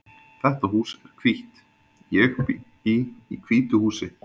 Þetta hús er hvítt. Ég bý í hvítu húsi.